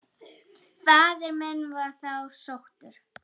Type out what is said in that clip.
Faðir minn var þá sóttur.